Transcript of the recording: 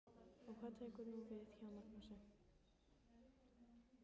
Og hvað tekur nú við hjá Magnúsi?